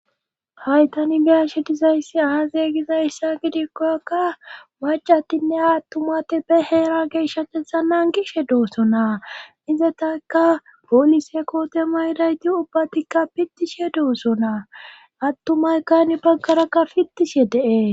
haytani biyashe dizayssi aaze gizayssa gidikkokka macatinne aattumate be heera geeshshatetha nan gishe dooso naa izetaka polise kootema idayti ubbatikka pittishe duoso naa attumaykkani baggaraka pitishe de'es